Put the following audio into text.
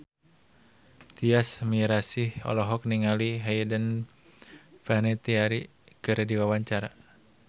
Tyas Mirasih olohok ningali Hayden Panettiere keur diwawancara